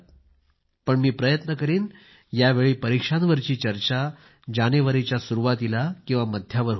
पण मी प्रयत्न करीन यावेळी परिक्षांवरची चर्चा जानेवारीच्या सुरुवातीला किंवा मध्यावर होईल